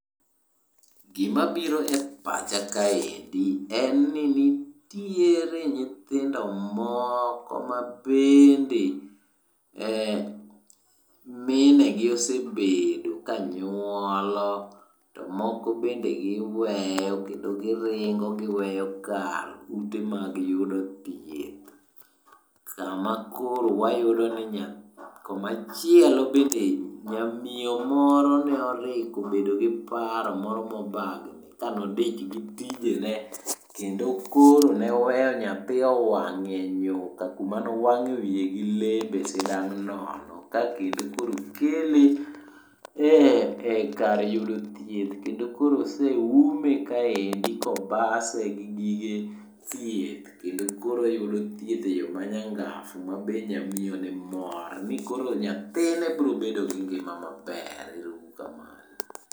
Gimabiro e pacha kaendi en ni titiere nyithindo moko mabende minegi osebedo kanyuolo to moko bende giweyo kendo giringo giweyo kar ute mag yudo thieth. Kama koro wayudo ni. Komachielo bende nyamiyo moro ne oriko obedo gi paro moro mobagni kane odich gi tijene kendo koro ne oweyo nyathi owang' e nyuka koma ne owang'o wiye gi lepe sidang' nono ,ka kendo koro okele e lkar yudo thieth, kendo koro oseume kaendi kobase gi gige thieth kendo koro oyudo thieth e yo manyangafu ma be nyamiyoni mor ni koro nyathine birobedo gi ngima maber. Ero uru kamano.